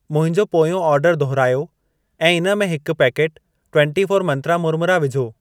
मुंहिंजो पोयों ऑर्डर दुहिरायो ऐं इन में हिकु पैकेटु ट्वन्टी फोर मंत्रा मुरमुरा विझो।